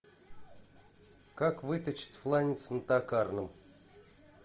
как выточить фланец на токарном